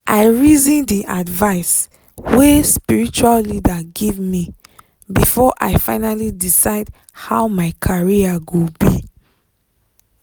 i reason the advice wey spiritual leader give me before i finally decide how my career go be.